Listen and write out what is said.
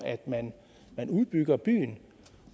man udbygger byen